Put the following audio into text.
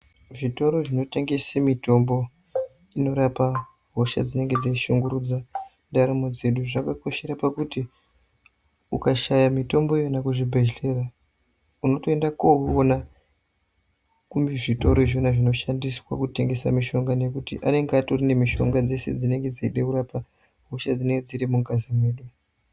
Zvitoro zvinotengese mitombo inorapa hosha dzinenge dzeishungurudza ndaramo dzedu zvakakoshera pakuti ukashaya mitombo iyona kuzvibhehlera unotoenda koona kuzvitoro izvona zvinoshandiswa kutengesa mishonga nekuti anenge atori nemishonga dzese dzinenge dzeida kurapa hosha dzinenge dziri mungazi medu.